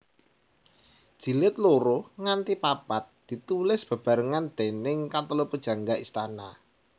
Jilid loro nganti papat ditulis bebarengan déning katelu pujangga istana